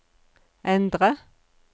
endre